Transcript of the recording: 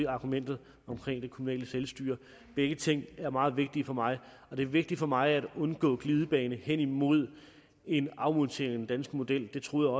argumentet om det kommunale selvstyre begge ting er meget vigtige for mig og det er vigtigt for mig at undgå en glidebane hen imod en afmontering danske model det troede